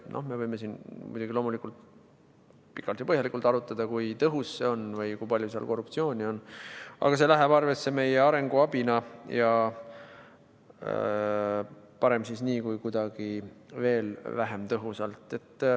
No me võime muidugi pikalt ja põhjalikult arutada, kui tõhus see on või kui palju seal korruptsiooni on, aga see läheb arvesse meie arenguabina ja parem nii kui kuidagi veel vähem tõhusalt.